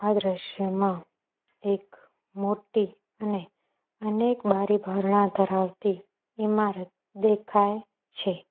આ દ્રશ્યમાં એક મોટી અને અનેક બારી બારણા ધરાવતી ઈમારત દેખાય છે.